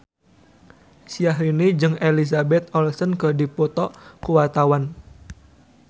Syahrini jeung Elizabeth Olsen keur dipoto ku wartawan